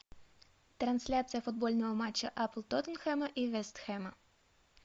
трансляция футбольного матча апл тоттенхэма и вест хэма